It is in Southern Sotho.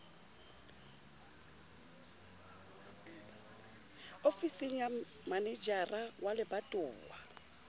ofising ya manejara wa lebatowa